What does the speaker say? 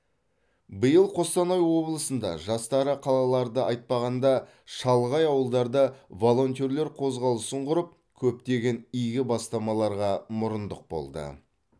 биыл қостанай облысында жастары қалаларды айтпағанда шалғай ауылдарда волонтерлер қозғалысын құрып көптеген игі бастамаларға мұрындық болды